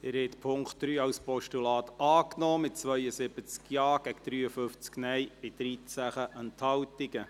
Sie haben den Punkt 3 als Postulat angenommen, mit 72 Ja- gegen 53 Nein-Stimmen bei 13 Enthaltungen.